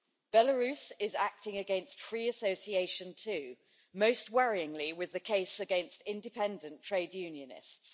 Belarus is acting against free association too, most worryingly with the case against independent trade unionists.